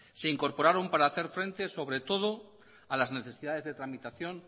se incorporaron para hacer frente sobre todo a las necesidades de tramitación